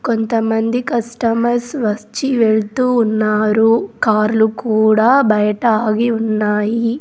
కొంతమంది కస్టమర్స్ వచ్చి వెళ్తూ ఉన్నారు కార్లు కూడా బయట ఆగి ఉన్నాయి.